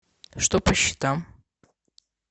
что по счетам